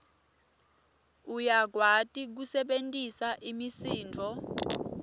uyakwati kusebentisa imisindvo